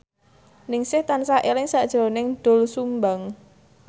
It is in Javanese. Ningsih tansah eling sakjroning Doel Sumbang